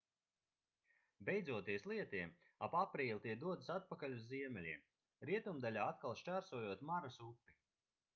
beidzoties lietiem ap aprīli tie dodas atpakaļ uz ziemeļiem rietumdaļā atkal šķērsojot maras upi